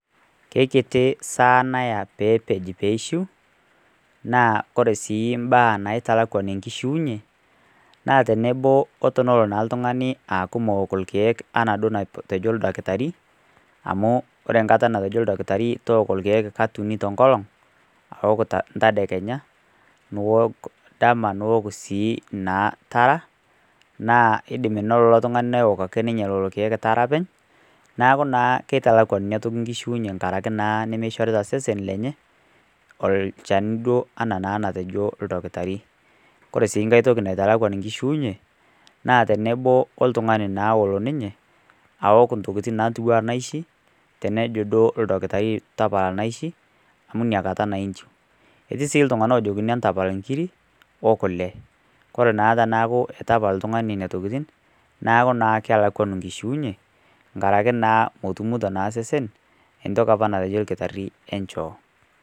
Ke kiti saa naya pee epej pee eishu, naa ore sii imbaa naitalakwan enkishuunye, naa tenebo o tenelo naa oltung'ani aaku meok ilkeek anaa duo enetejo oldakitari, amu ore kata 'natejo olakitari tooku kata uni te enkolong', aok ntaekenya, niok dama, niok sii naa tara naa eidim ake nilo ilo tung'ani neok ilkeek tara ake openy, neaku naa keitalakwan ina toki enkishuunye enkarake naa nemeishorita sesen lenye, olchani anaa duo naa natejo olakitari. Ore sii nkai toki naitalakwan enkishuunye, na tenebo oltung'ani naa olo ninye aok intokitin ntiu anaa inaishi, tenejo duo olakitari naa tapala inaishi, amu ina kata naa inchiu. Etii sii iltung'ana ojokini entapal inkiri, o kule. Ore naa pee eaku eitu epal oltung'ani nena tokitin, neku naa kelakwanu enkishuunye, enkaraki naa metumito naa osesen entoki opa natejo olkitari enchoo.